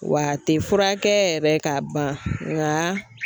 Wa a tɛ furakɛ yɛrɛ ka ban nka